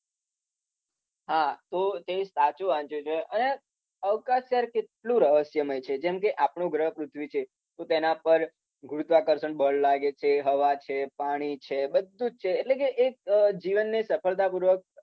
હા તો તે સાચુ વાંચ્યુ છે. અને અવકાશ યાર કેટલુ રહસ્યમય છે. જેમકે આપણુ ગ્રહ પૃથ્વી જે છે એના પર ગુરુત્વાકર્ષણ બળ લાગે છે. હવા છે, પાણી છે. બધુ જ છે. એટલે કે એક જીવનની સફળતા પુર્વક